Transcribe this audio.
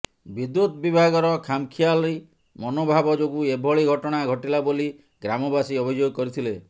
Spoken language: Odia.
ବିଦୁ୍ୟତ ବିଭାଗର ଖାମଖିଆଲି ମନୋଭାବ ଯୋଗୁଁ ଏଭଳି ଘଟଣା ଘଟିଲା ବୋଲି ଗ୍ରାମବାସୀ ଅଭିଯୋଗ କରିଥିଲେ